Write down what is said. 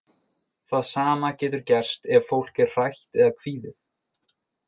Það sama getur gerst ef fólk er hrætt eða kvíðið.